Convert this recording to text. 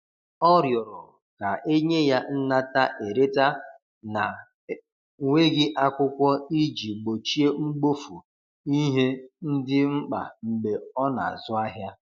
ọ riorọ ka enye ya nnata/ereta na nweghi akwụkwo iji gbochie mgbofu ihe ndi mkpa mgbe ọ na azụ ahia